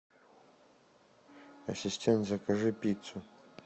ассистент закажи пиццу